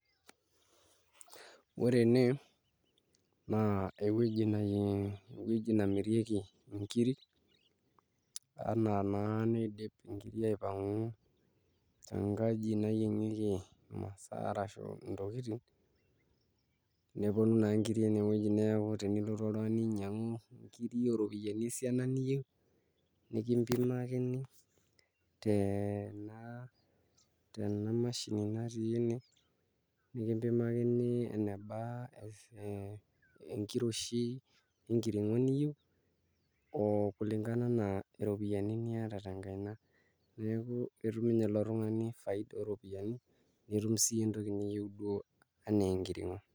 Ore ene na ewueji nai namirieki nkirik ana nai nidip nkiri apiangu tenkaji nayiengeki masaa ashu ntokitin neponu na nkiri enewueji enolotu oltungani ainyangu nkiri oropiyiani esiana niyieu nikimpimakini tenamashini natii ene nikimpimakini enebaa enkiringo enkiroshi niyeu kulingana ana ropiyani niata tenkajna neaku ketuk ilotungani faida oropiyiani nitum iyie entoki niyeu ana enkiringo.